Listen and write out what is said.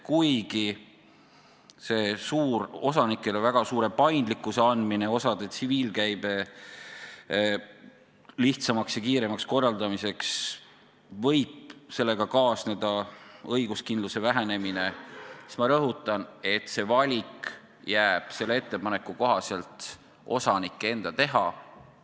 Kuigi selle osanikele väga suure paindlikkuse andmisega osade tsiviilkäibe lihtsamaks ja kiiremaks korraldamiseks võib kaasneda õiguskindluse vähenemine, siis ma rõhutan, et valik jääb selle ettepaneku kohaselt osanike enda teha.